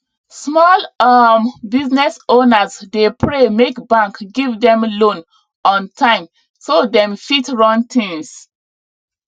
small um business owners dey pray make bank give them loan on time so dem fit run things